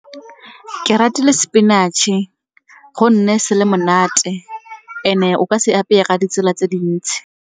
Ke ratile sepinatšhe gonne se le monate and-e o ka se apeye ga ditsela tse dintsi.